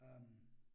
Øh